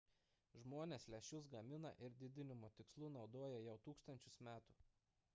žmonės lęšius gamina ir didinimo tikslu naudoja jau tūkstančius metų